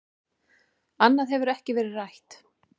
Annað hefur ekkert verið rætt